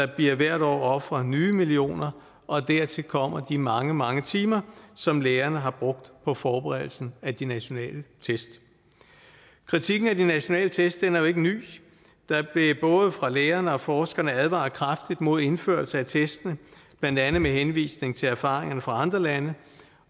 der bliver hvert år ofret nye millioner og dertil kommer de mange mange timer som lærerne har brugt på forberedelsen af de nationale test kritikken af de nationale test er jo ikke ny der blev både fra lærerne og forskerne advaret kraftigt imod indførelsen af testene blandt andet med henvisning til erfaringerne fra andre lande